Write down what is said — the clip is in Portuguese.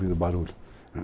ouvindo barulho.